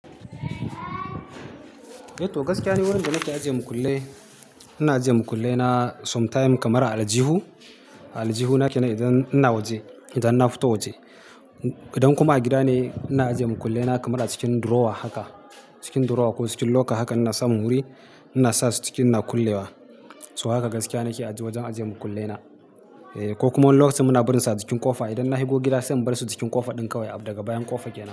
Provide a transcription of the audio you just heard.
Eh to gaskiya ni wurin da nake ajiye makullai. Ina ajiye makullai na sometime kamar a aljihu, a aljihuna kenan idan ina waje, idan na fito waje. Idan kuma gida ne, ina ajiye makullai na kamar cikin drawer haka, cikin drawer ko cikin locker haka ina samun wuri ina sasu cikin ina kulle wa. So haka gaskiya nake ajiye wajen ajiye makullai na. Eh, ko kuma lokacin muna birin sa cikin ƙofa, idan na higo gida sai in bar su jikin ƙofa ɗin kawai, daga bayan ƙofa ke nan.